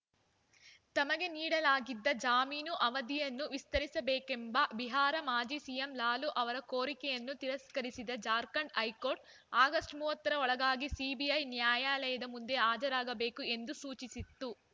ತಮಗೆ ನೀಡಲಾಗಿದ್ದ ಜಾಮೀನು ಅವಧಿಯನ್ನು ವಿಸ್ತರಿಸಬೇಕೆಂಬ ಬಿಹಾರ ಮಾಜಿ ಸಿಎಂ ಲಾಲು ಅವರ ಕೋರಿಕೆಯನ್ನು ತಿರಸ್ಕರಿಸಿದ್ದ ಜಾರ್ಖಂಡ್‌ ಹೈಕೋರ್ಟ್‌ ಆಗಸ್ಟ್ ಮೂವತ್ತರ ಒಳಗಾಗಿ ಸಿಬಿಐ ನ್ಯಾಯಾಲಯದ ಮುಂದೆ ಹಾಜರಾಗಬೇಕು ಎಂದು ಸೂಚಿಸಿತ್ತು